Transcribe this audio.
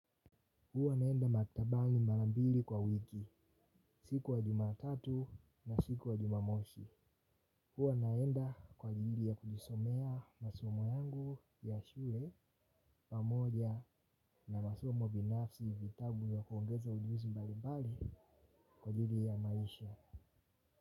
Huwa naenda maktabani mara mbili kwa wiki, siku ya jumatatu na siku ya jumamosi. Huwa naenda kwa ajili ya kujisomea masomo yangu ya shule pamoja na masomo binafsi vitabu vya kuongeza ujuuzi mbalibali kwa ajili ya maisha.